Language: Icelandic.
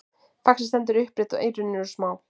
faxið stendur upprétt og eyrun eru smá